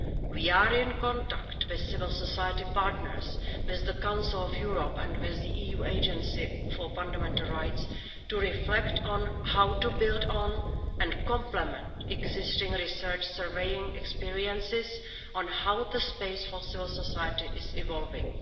We are in contact with civil society partners, with the Council of Europe and with the EU Agency for Fundamental Rights to reflect on how to build on and complement existing research surveying experiences on how the space for civil society is evolving.